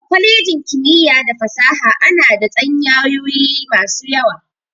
A kwalejin kimiyya da fasaha ana da tsanyayoyi masu yawa.